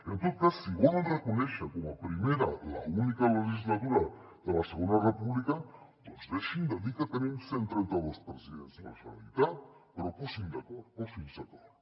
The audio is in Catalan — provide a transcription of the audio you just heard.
en tot cas si volen reconèixer com a primera l’única legislatura de la segona república doncs deixin de dir que tenim cent i trenta dos presidents de la generalitat però posin se d’acord posin se d’acord